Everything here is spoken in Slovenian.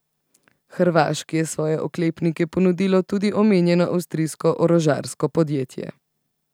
Hrvaški je svoje oklepnike ponudilo tudi omenjeno avstrijsko orožarsko podjetje.